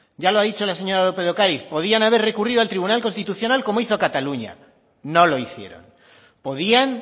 ya lo ha dicho la señora lópez de ocariz podían haber recurrido al tribunal constitucional como hizo cataluña no lo hicieron podían